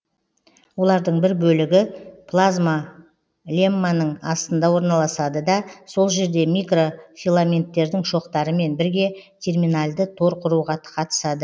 олардың бір бөлігі плазмалемманың астында орналасады да сол жерде микрофиламенттердің шоқтарымен бірге терминальды тор құруға қатысады